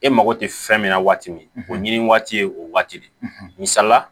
E mako tɛ fɛn min na waati min o ɲini waati ye o waati de misala